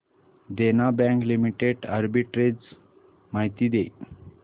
देना Bank Limited arbitrage माहिती दे